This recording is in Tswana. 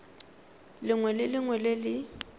lengwe le lengwe le le